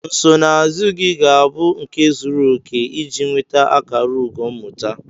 Nsonaazụ gị ga-abụ nke zuru oke iji nweta akara ugo mmụta.